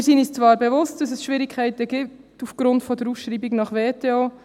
Wir sind uns zwar bewusst, dass es aufgrund der Ausschreibung nach WTO Schwierigkeiten gibt.